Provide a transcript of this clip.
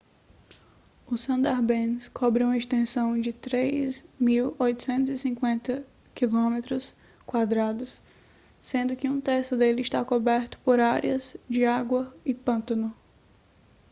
o sundarbans cobre uma extensão de 3.850 km² sendo que um terço dele está coberto por áreas de água/pântano